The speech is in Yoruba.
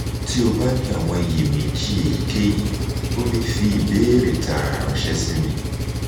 ti o ba ni awọn iyemeji eyikeyi o le fi ibeere taara ranṣẹ si mi